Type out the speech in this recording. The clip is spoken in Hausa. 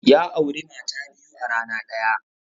Ya auri mata biyu a rana ɗaya.